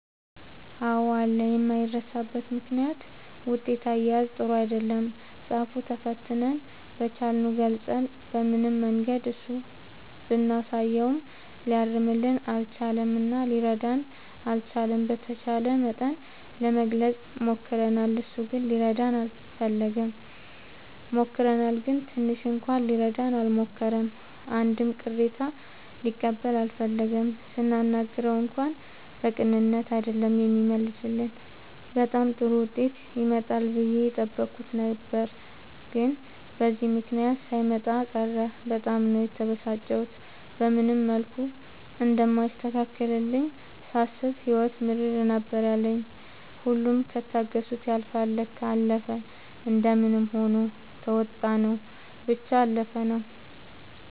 አዎ አለ የማይረሳበት ምክንያት ውጤት አያያዝ ጥሩ አይደለም ፃፍ ተፈትነን በቻልነው ገልፀን በምንም መንገድ እሱ ብናሳየውም ሊያርምልን አልቻለም እና ሊረዳንም አልቻለም። በተቻለ መጠን ለመግለፅ ሞክርናል እሱ ግን ሊረዳን አልፈለገም። ሞክረናል ግን ትንሽ እንኳን ሊረዳን አልሞከረም አንድም ቅሬታ ሊቀበል አልፈለገም ስናናግረው እንኳን በቅንነት አይደለም የሚመልስልን በጣም ጥሩ ዉጤት ይመጣል ብዬ የጠበኩት ነበር ግን በዚህ ምክንያት ሳይመጣ ቀረ በጣም ነው የተበሳጨሁት። በምንም መልኩ እንደማይስተካከልልኝ ሳስብ ህይወት ምርር ነበር ያለኝ ሁሉም ከታገሱት ያልፍል ለካ። አለፈ እንደምንም ሆኖ ተዉጣንው ብቻ አለፍነው።